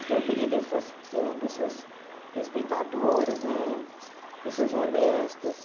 Então, eu queria que eles fossem eh pessoas respeitadoras né, pessoas honestas.